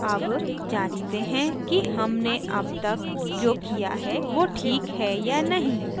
अब जाँचते हैं कि हमने अब तक जो किया है now ठीक है या नहीं